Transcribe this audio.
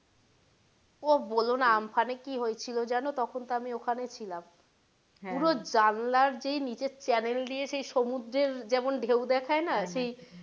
ওহ বোলো না আমফানে কি হয়েছিলো জানো তখন তো আমি ওইখানে ছিলাম পুরো জানলার যেই নীচের channel দিয়ে যে সেই সমুদ্রের যেমন ঢেউ দেখায় না সেই,